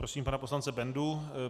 Prosím pana poslance Bendu.